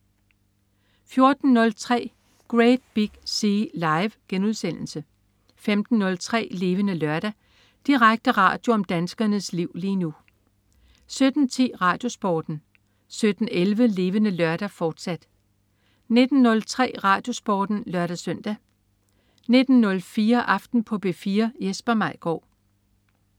14.03 Great Big Sea. Live* 15.03 Levende Lørdag. Direkte radio om danskernes liv lige nu 17.10 RadioSporten 17.11 Levende Lørdag, fortsat 19.03 RadioSporten (lør-søn) 19.04 Aften på P4. Jesper Maigaard